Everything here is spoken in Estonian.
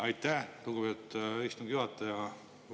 Aitäh, lugupeetud istungi juhataja!